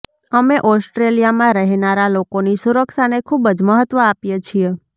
અમે ઓસ્ટ્રેલિયામાં રહેનારા લોકોની સુરક્ષાને ખૂબ જ મહત્વ આપીએ છીએ